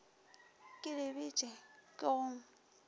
ke le bitše ke go